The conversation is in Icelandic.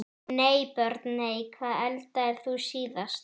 Nei Börn: Nei Hvað eldaðir þú síðast?